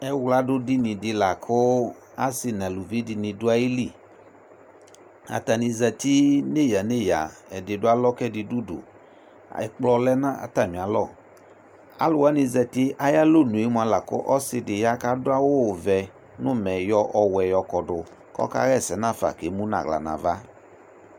Ɛwladʋdini dɩ la kʋ asɩ nʋ aluvi dɩnɩ dʋ ayili Atanɩ zati neyǝ-neyǝ Ɛdɩ dʋ alɔ kʋ ɛdɩ dʋ udu Ɛkplɔ lɛ nʋ atamɩalɔ Alʋ wanɩ zati ayʋ alɔnuyɛ mʋa la kʋ ɔsɩ dɩ ya kʋ adʋ awʋvɛ nʋ ʋmɛ yɔ ɔwɛ yɔkɔdʋ kʋ ɔkaɣa ɛsɛ nafa kʋ emu nʋ ʋɣɔ nʋ ava